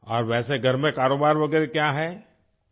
اور گھر میں کاروبار وغیرہ کیا ہے؟